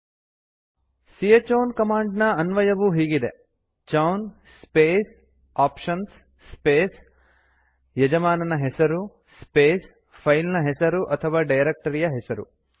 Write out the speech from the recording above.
c chown command ನ ಅನ್ವಯವು ಹೀಗಿದೆ ಚೌನ್ ಸ್ಪೇಸ್ ಆಪ್ಷನ್ಸ್ ಸ್ಪೇಸ್ ಯಜಮಾನನ ಹೆಸರು ಸ್ಪೇಸ್ ಫೈಲ್ ನ ಹೆಸರು ಅಥವಾ ಡೈರಕ್ಟರಿಯ ಹೆಸರು